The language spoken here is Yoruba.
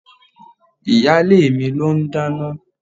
Ìyálé mi ló n dáná.